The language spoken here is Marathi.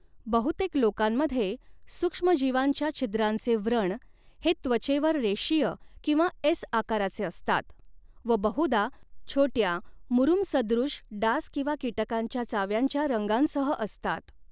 बहुतेक लोकांमध्ये, सूक्ष्मजीवांच्या छिद्रांचे व्रण हे त्वचेवर रेषीय किंवा एस आकाराचे असतात व बहुधा छोट्या, मुरुमसदृश डास किंवा कीटकांच्या चाव्यांच्या रंगांसह असतात.